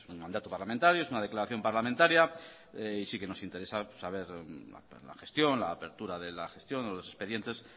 mandato parlamentario es una declaración parlamentaria y sí que nos interesa saber la gestión la apertura de la gestión o los expedientes